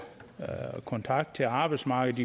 kontakt til arbejdsmarkedet